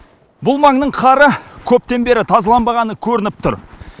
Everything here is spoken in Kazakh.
бұл маңның қары көптен бері тазаланбағаны көрініп тұр